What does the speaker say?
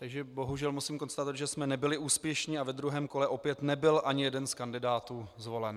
Takže bohužel musím konstatovat, že jsme nebyli úspěšní a ve druhém kole opět nebyl ani jeden z kandidátů zvolen.